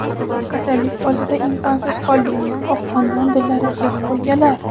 "Kasallik oldida imkonsiz qoldik" – oqqondan dillari siyoh bo‘lganlar.